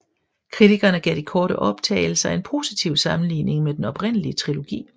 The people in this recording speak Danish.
Kritikerne gav de korte optagelser en positiv sammenligning med den oprindelige trilogi